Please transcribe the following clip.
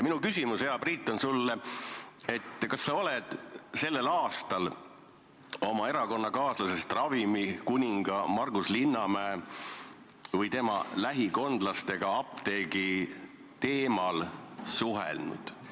Minu küsimus, hea Priit, on sulle selline: kas sa oled sel aastal oma erakonnakaaslasest ravimikuninga Margus Linnamäe või tema lähikondlastega apteegiteemal suhelnud?